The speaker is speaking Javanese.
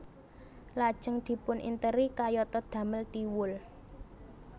Lajeng dipuninteri kayatå damel Thiwul